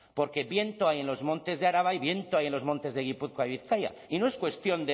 porque viento hay en los montes de araba y viento hay en los montes de gipuzkoa y bizkaia y no es cuestión